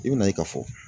I bɛna ye ka fɔ